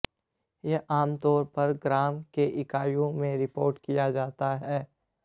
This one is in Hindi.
यह आमतौर पर ग्राम की इकाइयों में रिपोर्ट किया जाता है